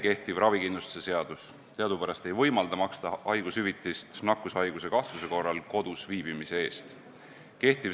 Kehtiv ravikindlustuse seadus teadupärast ei võimalda maksta haigushüvitist nakkushaiguse kahtluse korral kodus viibimise eest.